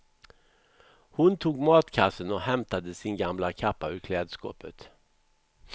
Hon tog matkassen och hämtade sin gamla kappa ur klädskåpet.